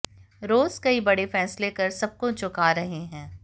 रोज कई बड़े फैसले कर सबको चौका रहे हैं